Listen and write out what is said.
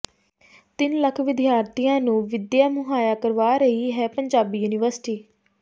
ਤਿੰਨ ਲੱਖ ਵਿਦਿਆਰਥੀਆਂ ਨੂੰ ਵਿੱਦਿਆ ਮੁਹਈਆ ਕਰਵਾ ਰਹੀ ਹੈ ਪੰਜਾਬੀ ਯੂਨੀਵਰਸਿਟੀ